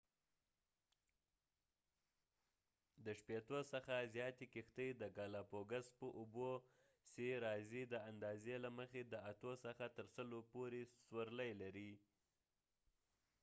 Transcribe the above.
د شپیتو څخه زیاتی کښتۍ د ګالاپګوس په اوبو څی راځی د اندازی له مخی د اتو څخه تر سلو پورې سورلی لري